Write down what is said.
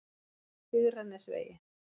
Digranesvegi